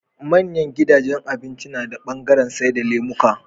Manyan gidajan abinci nada bangaran saida lemuka